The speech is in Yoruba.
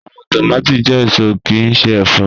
Awọn tomati jẹ eso kii ṣe ẹfọ